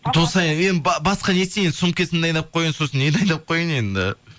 тосайық басқа не істейін сөмкесін дайындап қояйын сосын не дайындап қояйын енді